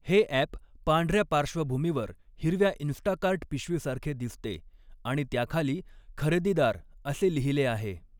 हे ॲप पांढऱ्या पार्श्वभूमीवर हिरव्या इंस्टाकार्ट पिशवीसारखे दिसते आणि त्याखाली 'खरेदीदार' असे लिहिले आहे.